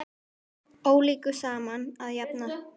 Ólíku saman að jafna.